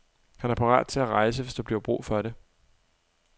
Han er parat til at rejse, hvis der bliver brug for det.